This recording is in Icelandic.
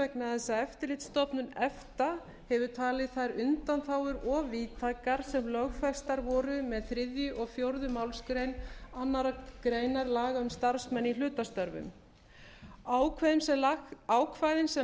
vegna þess að eftirlitsstofnun efta hefur talið þær undanþágur of víðtækar sem lögfestar voru með þriðja og fjórðu málsgrein annarrar greinar laga um starfsmenn í hlutastörfum ákvæðin sem